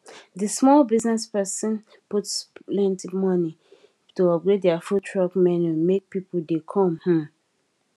the small business person put plenty money to upgrade their food truck menu make people dey come um